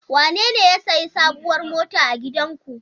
Wanene ya sayi sabuwar mota a gidanku?